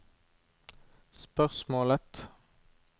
spørsmålet